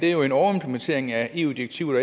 er jo en overimplementering af et eu direktiv